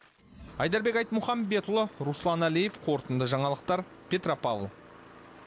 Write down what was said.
айдарбек айтмұхамбетұлы руслан әлиев қорытынды жаңалықтар петропавл